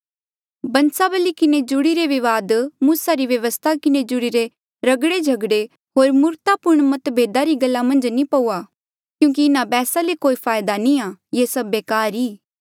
बन्सावली किन्हें जुड़ीरे विवाद मूसा री व्यवस्था किन्हें जुड़ीरे रगड़े झगड़े होर मूर्खतापूर्ण मतभेदा री गल्ला मन्झ नी पया क्यूंकि इन्हा बैहसा ले कोई फायदा नी आ ये सभ बेकार ऐें